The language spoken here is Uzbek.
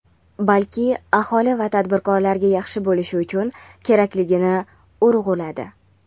balki aholi va tadbirkorlarga yaxshi bo‘lishi uchun kerakligini urg‘uladi.